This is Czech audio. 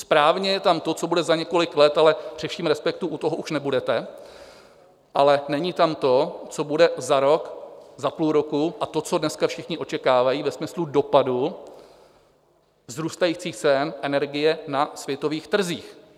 Správně je tam to, co bude za několik let, ale při vším respektu, u toho už nebudete, ale není tam to, co bude za rok, za půl roku a to, co dneska všichni očekávají ve smyslu dopadů vzrůstajících cen energie na světových trzích.